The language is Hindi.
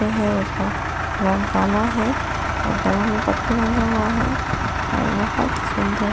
जो है उसका रंग काला है और गला में पट्टी बांदा हुआ है और बहुत सुंदर --